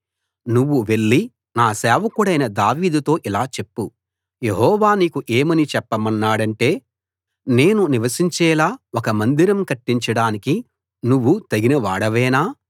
నువ్వు వెళ్లి నా సేవకుడైన దావీదుతో ఇలా చెప్పు యెహోవా నీకు ఏమని చెప్పమన్నాడంటే నేను నివసించేలా ఒక మందిరం కట్టించడానికి నువ్వు తగిన వాడవేనా